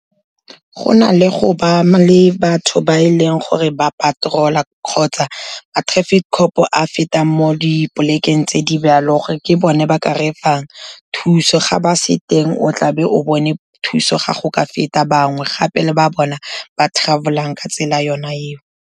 Go na le go ba le batho ba e leng gore ba patrol-a kgotsa ma traffic cop a fetang mo dipolekeng tse di , gore ke bone ba ka re fang thuso, ga ba se teng o tlabe o bone thuso ga go ka feta bangwe gape, le ba bona ba travel-ang ka tsela ona eo.